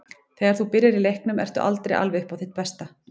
Þegar þú byrjar í leiknum ertu aldrei alveg upp á þitt besta.